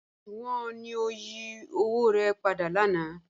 Oṣuwọn wọ ni o yí owo rẹ̀ pàdà lànà?